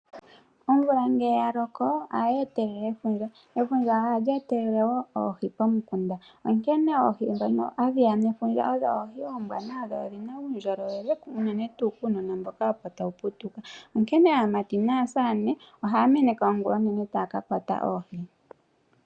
Omvula ngele ya loko, ohayi vulu okweetitha efundja, ndyoka hali eetelele oohi momikunda. Oohi ndhoka hadhi etelelwa kefundja odho oombwanawa na odhi na uundjolowele, unene tuu kuunona mboka opo tawu putuka. Aamati naasamane ohaya meneka nduno ongula onene opo ya ka kwate oohi.